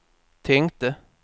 tänkte